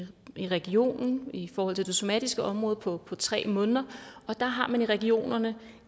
i regionen i forhold til det somatiske område på på tre måneder og der har man i regionerne